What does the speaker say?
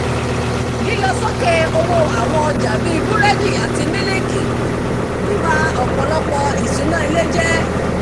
lílọ sókè owó àwọn ọjà bíi búrẹ́dì àti mílìkì ń ba ọ̀pọ̀lọpọ̀ ìṣúná ilé jẹ́